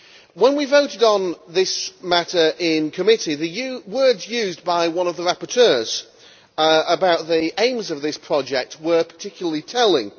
When we voted on this matter in committee, the words used by one of the rapporteurs about the aims of this project were particularly telling.